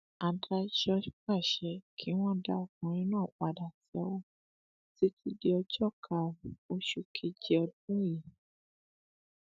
adájọ pàṣẹ kí wọn dá ọkùnrin náà padà sẹwọn títí di ọjọ karùnún oṣù keje ọdún yìí